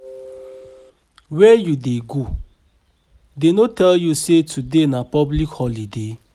Where you dey go? Dey no tell you say today na public holiday?